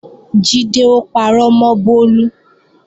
Jídé ó parọ́ mọ́ Bólú